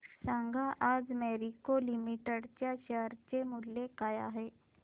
सांगा आज Marico limited च्या शेअर चे मूल्य काय आहे